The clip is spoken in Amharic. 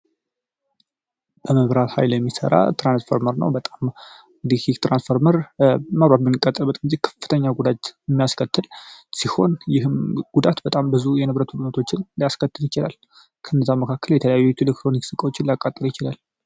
እመብራት ኃይል የሚሠራ ትራንስፎርመር ነው በጣም ከፍተኛ ጉዳይ የሚያስከትል ሲሆን ይህም ጉዳት በጣም ብዙ የንብረቱን ያስከትል ይችላል። ከነዛ መካከል የተለያዩ ይችላል